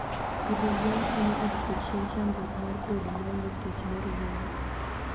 Pidho gwen konyo e dwoko chien chandruok mar bedo maonge tich ne rowere.